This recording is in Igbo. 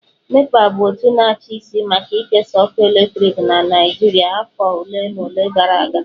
NEPA bụ otu na-achị isi maka ikesa ọkụ eletrik na Naịjirịa afọ ole na ole gara aga